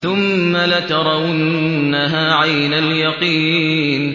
ثُمَّ لَتَرَوُنَّهَا عَيْنَ الْيَقِينِ